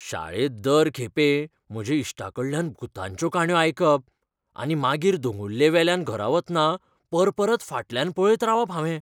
शाळेंत दर खेपे म्हज्या इश्टांकडल्यान भुतांच्यो काणयो आयकप, आनी मागीर दोंगुल्लेवयल्यान घरा वतना परपरत फाटल्यान पळयत रावप हावें.